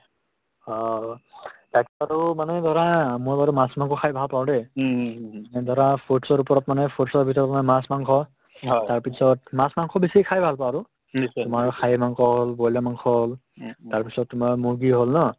অ, মানে ধৰা অ মই বাৰু মাছ-মাংস খাই ভাল পাওঁ দেই এই ধৰা foods ৰ ওপৰত মানে foods ৰ ভিতৰত মই মাছ-মাংস তাৰপিছত মাছ-মাংস বেছিকে খাই ভাল পাওঁ আৰু তোমাৰ আৰু খাহীৰ মাংস হ'ল বইলাৰ মাংস হ'ল তাৰপিছত তোমাৰ মুৰ্গী হ'ল ন